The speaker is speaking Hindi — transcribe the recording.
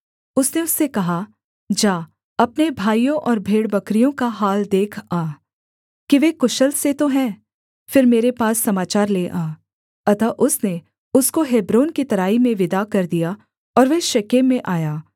उसने उससे कहा जा अपने भाइयों और भेड़बकरियों का हाल देख आ कि वे कुशल से तो हैं फिर मेरे पास समाचार ले आ अतः उसने उसको हेब्रोन की तराई में विदा कर दिया और वह शेकेम में आया